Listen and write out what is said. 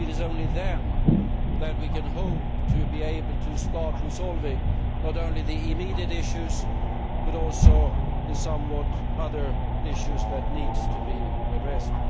It is only then that we can hope to be able to start resolving not only the immediate issues, but also the other issues that need to be addressed.